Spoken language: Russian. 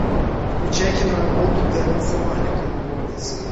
включай киноработу терренса малика любовницы